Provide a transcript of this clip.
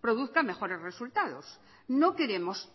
produzca mejores resultados no queremos